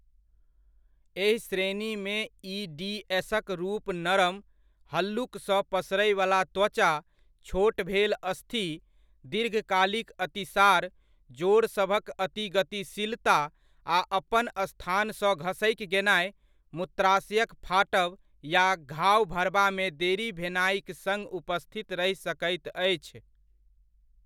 एहि श्रेणीमे ई.डी.एस.क रूप नरम, हल्लुकसँ पसरैवला त्वचा, छोट भेल अस्थि, दीर्घकालिक अतिसार, जोड़ सभक अति गतिशीलता आ अपन स्थानसँ घसकि गेनाइ, मूत्राशयक फाटब या घाव भरबामे देरी भेनाइक सङ्ग उपस्थित रहि सकैत अछि।